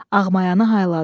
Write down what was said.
Ağmayanı hayladı.